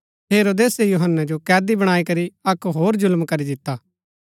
हेरोदेसे यूहन्‍नै जो कैदी बणाई करी अक्क होर जुल्‍म करी दिता